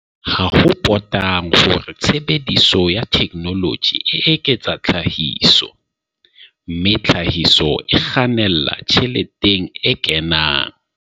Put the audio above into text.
Ha ho potang hore tshebediso ya theknoloji e eketsa tlhahiso, mme tlhahiso e kgannela tjheleteng e kenang.